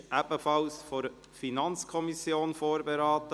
Dieses Gesetz wurde ebenfalls von der FiKo vorberaten.